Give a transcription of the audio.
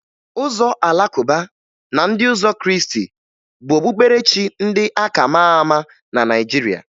Ụzọ Alakụba na ndị ụzọ Krịịstị bụ okpukperechi ndị a ka maa ama na Naịjiria